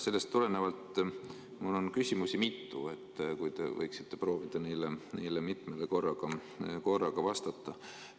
Sellest tulenevalt on mul mitu küsimust, te võiksite proovida neile korraga vastata.